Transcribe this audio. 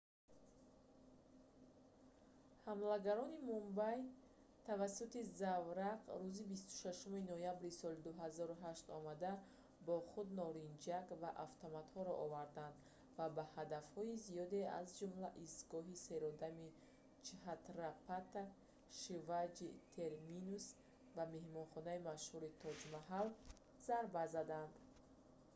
ҳамлагарони мумбай тавассути заврақ рӯзи 26-уми ноябри соли 2008 омада бо худ норинҷак ва автоматҳоро оварданд ва ба ҳадафҳои зиёде аз ҷумла истгоҳи серодами чҳатрапати шиваҷи терминус ва меҳмонхонаи машҳури тоҷ маҳал зарба заданд